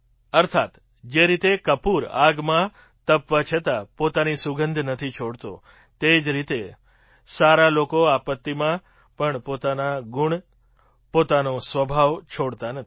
અર્થાત જે રીતે કપૂર આગમાં તપવા છતાં પોતાની સુગંધ નથી છોડતો તે જ રીતે સારા લોકો આપત્તિમાં પણપોતાના ગુણ પોતાનો સ્વભાવ છોડતા નથી